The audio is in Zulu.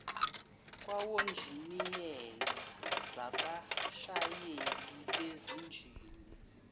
kwawonjiniyela zabashayeli bezinjini